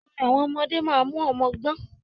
Orin àwọn ọmọdé máa mú ọmọ gbọn.